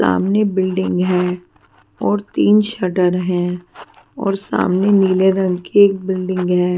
सामने बिल्डिंग है और तीन शटर हैं और सामने नीले रंग की एक बिल्डिंग है.